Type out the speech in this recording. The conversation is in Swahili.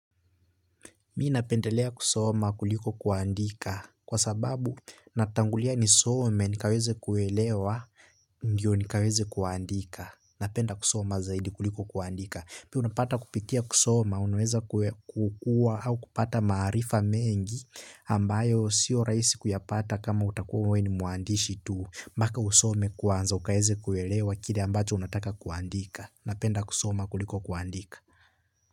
Mimi napendelea kusoma kuliko kuandika. Kwa sababu, natangulia nisome, nikaweze kuelewa, ndio nikaweze kuandika. Napenda kusoma zaidi kuliko kuandika. Pia unapata kupitia kusoma, unaweza kukua au kupata maarifa mengi ambayo sio rahisi kuyapata kama utakuwa wewe ni muandishi tu. Mpaka usome kwanza, ukaweze kuwelewa kile ambacho unataka kuandika. Napenda kusoma kuliko kuandika.